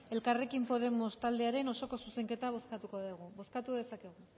elkarrekin podemos taldearen osoko zuzenketa bozkatuko dugu bozkatu dezakegu